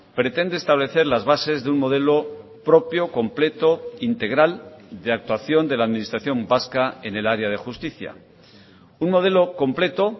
pretende establecer las bases de un modelo propio completo integral de actuación de la administración vasca en el área de justicia un modelo completo